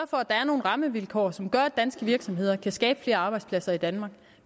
for at der er nogle rammevilkår som gør at danske virksomheder kan skabe flere arbejdspladser i danmark